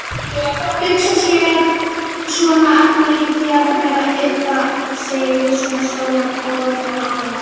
Hugsa sér, svona agnarlítið jarðarber að ybba sig við svona stóran og voldugan ananas.